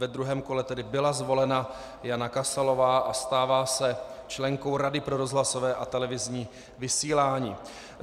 Ve druhém kole tedy byla zvolena Jana Kasalová a stává se členkou Rady pro rozhlasovou a televizní vysílání.